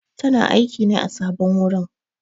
Tana aiƙi ne a sabon wurin.